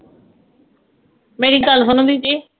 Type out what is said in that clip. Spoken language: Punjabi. ਮੇਰੀ ਗੱਲ ਸੁਣੋ ਦੀ ਜੀ